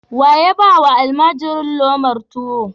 Wa ya ba wa almajiri lomar tuwo?